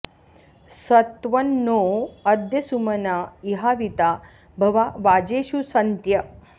स त्वं नो॑ अ॒द्य सु॒मना॑ इ॒हावि॒ता भवा॒ वाजे॑षु सन्त्य